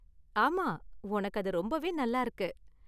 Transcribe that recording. ஆமா, ஒனக்கு அது ரொம்பவே நல்லா இருக்கு.